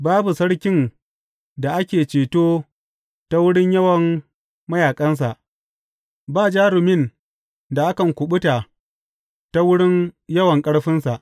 Babu sarkin da ake ceto ta wurin yawan mayaƙansa; ba jarumin da kan kuɓuta ta wurin yawan ƙarfinsa.